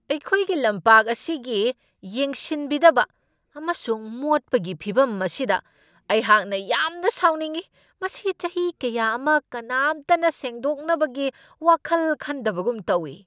ꯑꯩꯈꯣꯏꯒꯤ ꯂꯝꯄꯥꯛ ꯑꯁꯤꯒꯤ ꯌꯦꯡꯁꯤꯟꯕꯤꯗꯕ ꯑꯃꯁꯨꯡ ꯃꯣꯠꯄꯒꯤ ꯐꯤꯕꯝ ꯑꯁꯤꯗ ꯑꯩꯍꯥꯛꯅ ꯌꯥꯝꯅ ꯁꯥꯎꯅꯤꯡꯉꯤ ꯫ ꯃꯁꯤ ꯆꯍꯤ ꯀꯌꯥ ꯑꯃ ꯀꯅꯥꯝꯇꯅ ꯁꯦꯡꯗꯣꯛꯅꯕꯒꯤ ꯋꯥꯈꯜ ꯈꯟꯗꯕꯒꯨꯝ ꯇꯧꯢ ꯫